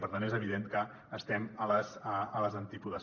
per tant és evident que estem a les antípodes